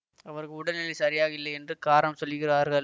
அவருக்கு உடல் நிலை சரியாக இல்லை என்று காரணம் சொல்லுகிறார்கள்